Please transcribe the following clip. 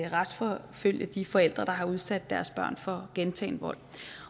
retsforfølge de forældre der har udsat deres børn for gentagen vold